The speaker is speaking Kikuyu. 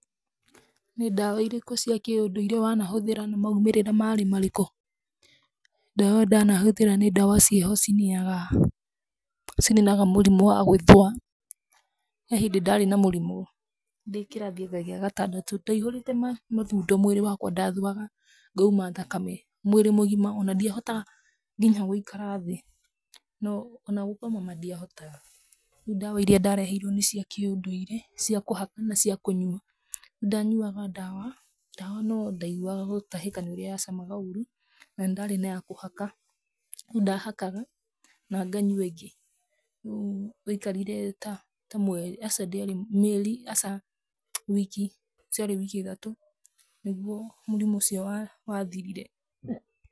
Nĩ ndawa irĩkũ cia kĩndũire wanahũthĩra na maumĩrĩra marĩ marĩkũ? Ndawa ndanahũthĩra nĩ ndawa ciĩho cininaga cininaga mũrimũ wa gũĩthũa. He hĩndĩ ndaarĩ na mũrimũ, ndĩ kĩrathi anga gĩa gatandatũ. Ndaihũrĩte mathundo mwĩrĩ wakwa, ndathũaga ngauma thakame, mwĩrĩ mũgima, o na ndiahota nginya gũikara thĩ. O na gũkoma ma ndiahotaga. Rĩu ndawa iria ndareheirwo nĩ cia kĩũndũire, cia kũhaka na cia kũnyua. Rĩu ddanyuaga ndawa, ndawa no ndaiguaga gutahĩka nĩ ũrĩa yacamaga ũru, na nĩ ndarĩ na ya kũhaka. Rĩu ndahakaga na nganyua ĩngĩ. Rĩu waikarire ta ta mweri, aca ndĩarĩ mweri, mĩeri, aca, wiki, ciarĩ wiki ithatũ, nĩguo mũrimũ ũcio wathirire.